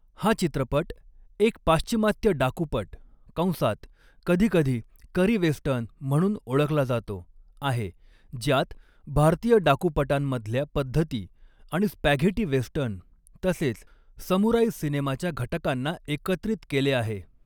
हा चित्रपट एक पाश्चिमात्य डाकूपट कंसात कधीकधी करी वेस्टर्न म्हणून ओळखला जातो आहे, ज्यात भारतीय डाकूपटांमधल्या पद्धती आणि स्पॅघेटी वेस्टर्न तसेच समुराई सिनेमाच्या घटकांना एकत्रित केले आहे.